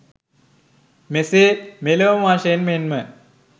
මෙසේ මෙලොව වශයෙන් මෙන්ම